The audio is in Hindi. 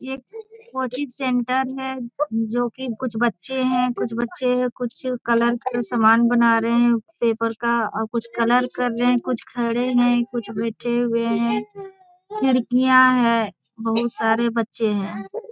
एक कोचिंग सेंटर है जो कि कुछ बच्चे हैं। कुछ बच्चे हैं। कुछ कलर का सामान बना रहे हैं पेपर का। अ कुछ कलर कर रहे हैं कुछ खड़े हैं कुछ बैठे हुए हैं। खिड़कियां है। बहुत सारे बच्चे हैं ।